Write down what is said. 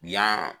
Yan